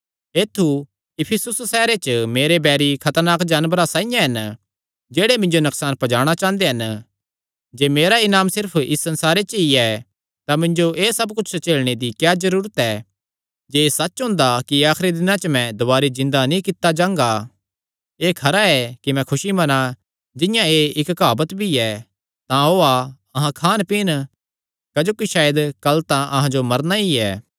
ऐत्थु इफिसुस सैहरे च मेरे बैरी खतरनाक जानवरां साइआं हन जेह्ड़े मिन्जो नकसान पजाणा चांह़दे हन जे मेरा इनाम सिर्फ इस संसारे च ई ऐ तां मिन्जो एह़ सब कुच्छ झेलणे दी क्या जरूरत ऐ जे एह़ सच्च हुंदा कि आखरी दिनां च मैं दुवारी जिन्दा नीं कित्ता जांगा तां एह़ खरा ऐ कि मैं खुसी मन्ना जिंआं एह़ इक्क काहवत भी ऐ तां ओआ अहां खान पींन क्जोकि सायद कल तां अहां जो मरना ई ऐ